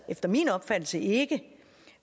efter min opfattelse ikke